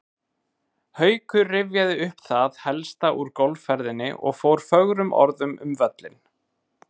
Haukur rifjaði upp það helsta úr golfferðinni og fór fögrum orðum um völlinn.